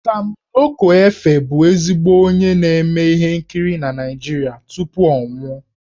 Sam Loco Efe bụ ezigbo onye na-eme ihe nkiri na Naịjirịa tupu ọ nwụọ.